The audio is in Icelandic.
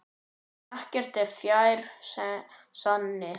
Ekkert er fjær sanni.